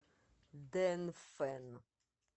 дэнфэн